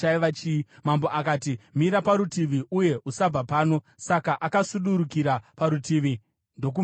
Mambo akati, “Mira parutivi uye usabva pano.” Saka akasudurukira parutivi ndokumirapo.